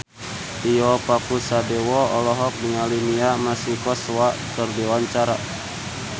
Tio Pakusadewo olohok ningali Mia Masikowska keur diwawancara